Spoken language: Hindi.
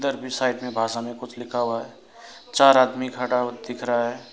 अरबी साइड में भाषा में कुछ लिखा हुआ चार आदमी खड़ा हु दिख रहा है।